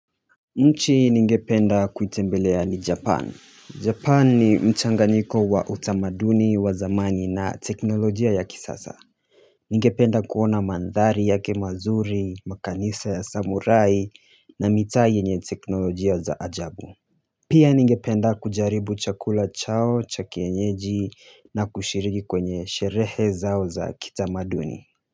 Nchi ningependa kuitembelea ni Japan. Japan ni mchanganyiko wa utamaduni wa zamani na teknolojia ya kisasa ningependa kuona mandhari yake mazuri makanisa ya Samurai na mitaa yenye teknolojia za ajabu pia ningependa kujaribu chakula chao cha kienyeji na kushiriki kwenye sherehe zao za kitamaduni